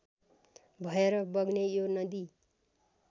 भएर बग्ने यो नदी